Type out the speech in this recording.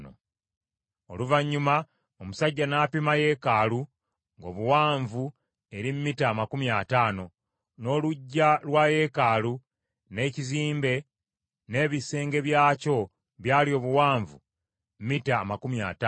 Oluvannyuma omusajja n’apima yeekaalu, ng’obuwanvu eri mita amakumi ataano, n’oluggya lwa yeekaalu n’ekizimbe n’ebisenge byakwo byali obuwanvu mita amakumi ataano.